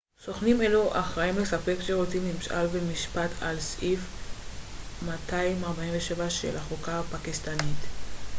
סוכנים אלו אחראים לספק שירותי ממשל ומשפט על פי סעיף 247 של החוקה הפקיסטנית